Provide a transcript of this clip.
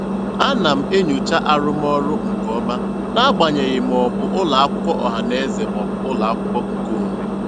Ana m enyocha arụmọrụ nke ọma n'agbanyeghị ma ọ bụ ụlọakwụkwọ ọhanaeze maọbụ ụlọakwụkwọ nke onwe.